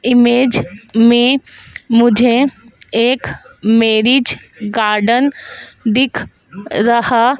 image मे मुझे एक मैरिज गार्डन दिख रहा--